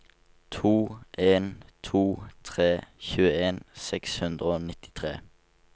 to en to tre tjueen seks hundre og nittitre